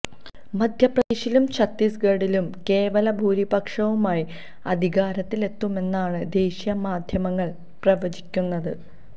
മധ്യപ്രദേശിലും ചത്തീസ് ഗഡിലും കേവല ഭൂരിപക്ഷവുമായി അധികാരത്തിലെത്തുമെന്നാണ് ദേശീയ മാധ്യമങ്ങള് പ്രവചിക്കുന്നത്